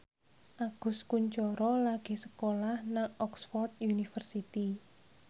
Agus Kuncoro lagi sekolah nang Oxford university